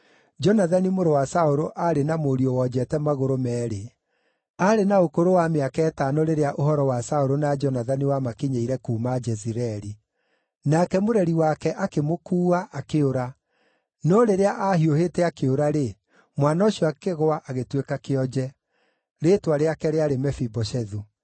(Jonathani mũrũ wa Saũlũ aarĩ na mũriũ wonjete magũrũ meerĩ. Aarĩ na ũkũrũ wa mĩaka ĩtano rĩrĩa ũhoro wa Saũlũ na Jonathani wamakinyĩire kuuma Jezireeli. Nake mũreri wake akĩmũkuua, akĩũra; no rĩrĩa aahiũhĩte akĩũra-rĩ, mwana ũcio akĩgũa agĩtuĩka kĩonje. Rĩĩtwa rĩake rĩarĩ Mefiboshethu.)